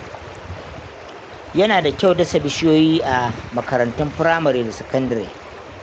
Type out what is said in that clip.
Yana da kyau dasa bishiyoyi a makarantun firamare da sakandare.